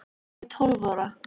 Ég er tólf ára.